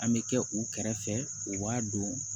An bɛ kɛ u kɛrɛfɛ u b'a dɔn